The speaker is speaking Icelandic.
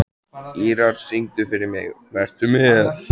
Ýrar, syngdu fyrir mig „Vertu með“.